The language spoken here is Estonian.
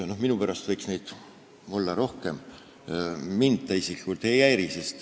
Minu pärast võiks neid rohkem olla, mind isiklikult see ei häiriks.